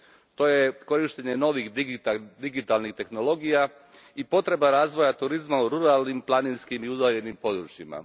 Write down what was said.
To je korištenje novih digitalnih tehnologija i potreba razvoja turizma u ruralnim, planinskim i udaljenim područjima.